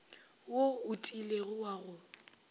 wo o tiilego wa go